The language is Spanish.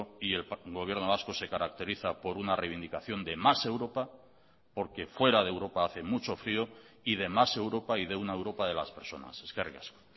y el gobierno vasco se caracteriza por una reivindicación de más europa porque fuera de europa hace mucho frío y de más europa y de una europa de las personas eskerrik asko